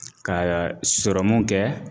Ka sɔrɔmu kɛ